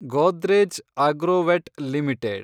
Godrej Agrovet limited